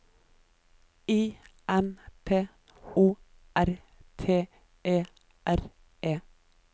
I M P O R T E R E